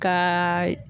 Kaaa